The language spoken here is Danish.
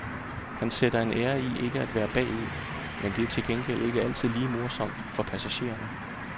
Han sætter en ære i ikke at være bagud, men det er til gengæld ikke altid lige morsomt for passagererne.